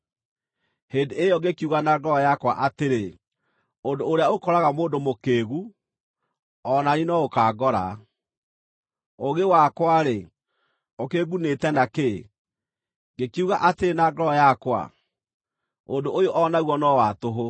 Hĩndĩ ĩyo ngĩkiuga na ngoro yakwa atĩrĩ, “Ũndũ ũrĩa ũkoraga mũndũ mũkĩĩgu o na niĩ no ũkaangora. Ũũgĩ wakwa-rĩ, ũkĩngʼunĩte na kĩ?” Ngĩkiuga atĩrĩ na ngoro yakwa, “Ũndũ ũyũ o naguo no wa tũhũ.”